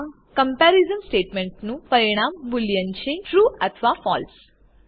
આ કમ્પેરીઝન સ્ટેટમેન્ટનું પરિણામ બુલિયન છે ટ્રૂ અથવા ફળસે